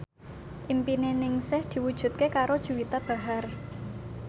impine Ningsih diwujudke karo Juwita Bahar